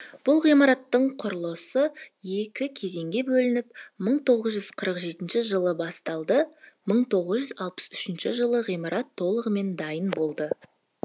бұл ғимараттың құрылысы екі кезеңге бөлініп мың тоғыз жүз қырық жетінші жылы басталды мың тоғыз жүз алпыс үшінші жылы ғимарат толығымен дайын болды